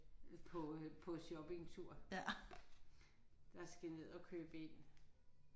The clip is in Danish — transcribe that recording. På øh på shoppingtur der skal ned og købe ind